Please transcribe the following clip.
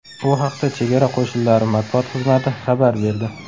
Bu haqda Chegara qo‘shinlari matbuot xizmati xabar berdi .